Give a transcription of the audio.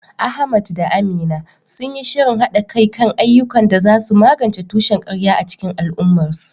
Ahmad da Amina sun yi shirin haɗa kai kan ayyukan da za su magance tushen ƙarya a cikin al’ummarsu.